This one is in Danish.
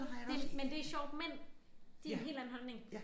Det men det sjovt mænd de har en helt anden holdning